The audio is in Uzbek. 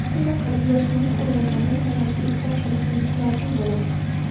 Shunday qilib, yoshingiz ulg‘ayganda nimalarga e’tibor qilishingiz lozim bo‘ladi?